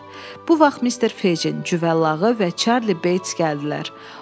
Bu vaxt Mister Fejinin cüvəllağı və Çarli Beyts gəldilər.